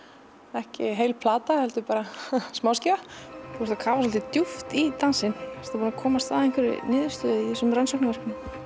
ekki heil plata heldur smáskífa þú kafar svolítið djúpt í dansinn ertu búin að komast að einhverri niðurstöðu í þessum rannsóknum